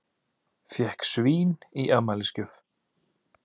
Fékk svín í afmælisgjöf